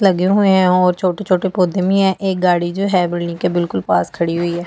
लगे हुए हैं और छोटे-छोटे पौधे में है एक गाड़ी जो है बिल्डिंग के बिल्कुल पास खड़ी हुई है।